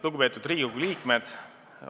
Lugupeetud Riigikogu liikmed!